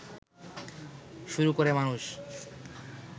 শুরু করে মানুষ